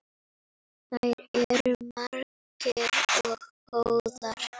Þær eru margar og góðar.